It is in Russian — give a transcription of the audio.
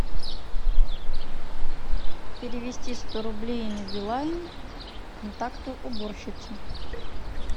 перевести сто рублей на билайн контакту уборщица